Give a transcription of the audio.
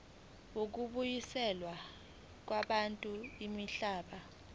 zokubuyiselwa kwabantu imihlaba